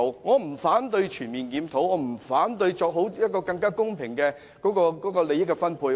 我不反對全面檢討，亦不反對作更公平的利益分配。